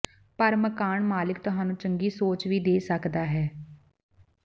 ਪਰ ਮਕਾਨ ਮਾਲਿਕ ਤੁਹਾਨੂੰ ਚੰਗੀ ਸੋਚ ਵੀ ਦੇ ਸਕਦਾ ਹੈ